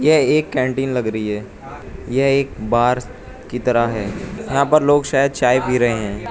यह एक कैंटीन लग रही है यह एक बार की तरह है यहां पर लोग शायद चाय पी रहे हैं।